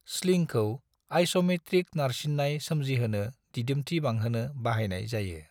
स्लिंखौ isometric नारसिननाय सोमजिहोनो दिदोमथि बांहोनो बाहायनाय जायो।